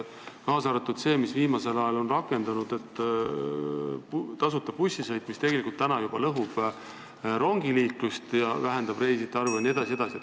Näiteks viimasel ajal rakendunud tasuta bussisõit tegelikult juba lõhub rongiliiklust, vähendab reisijate arvu jne.